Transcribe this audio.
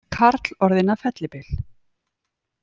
Karl orðinn að fellibyl